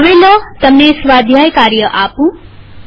હવે લો તમને સ્વાધ્યાય કાર્ય આપું